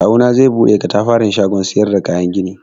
Kawuna zai buɗe katafaren shagon siyar da kayan gini.